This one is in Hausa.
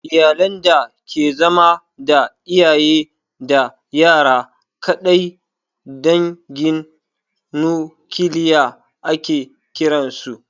Iyalan da ke zama da iyaye da yara kaɗai dangin nukiliya ake kiran su